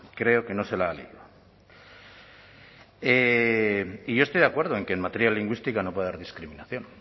creo que no se la ha leído y yo estoy de acuerdo en que en materia lingüística no puede haber discriminación